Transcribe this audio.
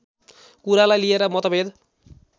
कुरालाई लिएर मतभेद